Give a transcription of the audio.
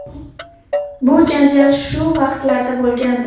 Bu janjal shu vaqtlarda bo‘lgandi.